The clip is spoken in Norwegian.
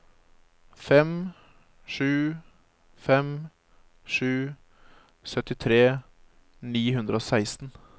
fem sju fem sju syttitre ni hundre og seksten